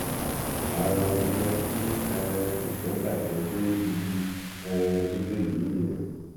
ara ohun tó jẹ kí um nǹkan bàjẹ dé ibi um tó dé yìí nìyẹn